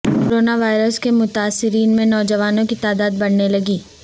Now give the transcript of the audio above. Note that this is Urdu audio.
کرونا وائرس کے متاثرین میں نوجوانوں کی تعداد بڑھنے لگی